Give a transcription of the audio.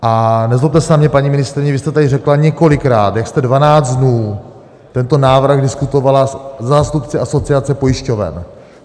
A nezlobte se na mě, paní ministryně, vy jste tady řekla několikrát, jak jste 12 dnů tento návrh diskutovala se zástupci Asociace pojišťoven.